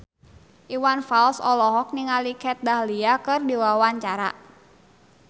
Iwan Fals olohok ningali Kat Dahlia keur diwawancara